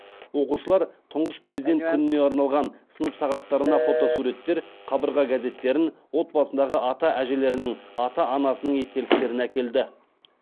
оқушылар тұңғыш президент күніне арналған сынып сағаттарына фотосуреттер қабырға газеттерін отбасындағы ата әжелерінің ата анасының естеліктерін әкелді